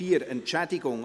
4.2.4 Entschädigung